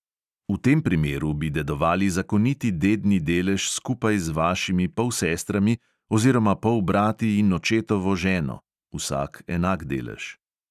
V tem primeru bi dedovali zakoniti dedni delež skupaj z vašimi polsestrami oziroma polbrati in očetovo ženo (vsak enak delež).